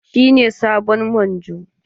Shine sabon Manjo?